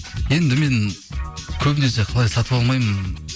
енді мен көбінесе қалай сатып алмаймын